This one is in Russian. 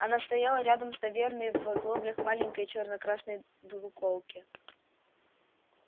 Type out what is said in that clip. она стояла рядом с таверной в оглоблях маленькой черно-красной двуколки